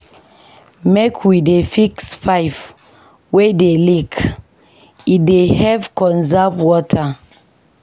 Make we dey fix pipe wey dey leak, e dey help conserve water.